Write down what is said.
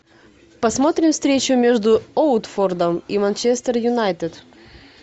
посмотрим встречу между уотфордом и манчестер юнайтед